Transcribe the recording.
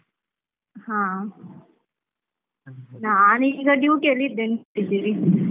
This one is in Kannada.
ಹಾ ನಾನೀಗ duty ಅಲ್ಲಿ ಇದ್ದೀನಿ .